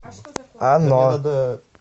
оно